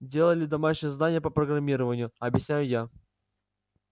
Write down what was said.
делали домашнее задание по программированию объясняю я